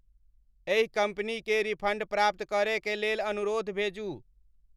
एहि कंपनी कें रिफंड प्राप्त करय कें लेल अनुरोध भेजूं